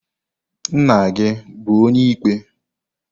Nna-gi bu onye-ikpe?